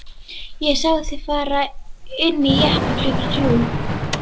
Ég sá þig fara inn í jeppa klukkan þrjú.